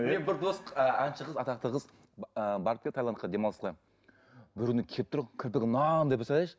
әнші қыз атақты қыз ы барып келді тайландқа демалысқа бір күні келіп тұр кірпігі мынандай представляешь